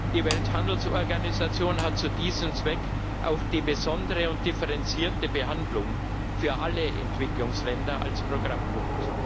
Die Welthandelsorganisation hat zu diesem Zweck auch die besondere und differenzierte Behandlung für alle Entwicklungsländer als Programmpunkt.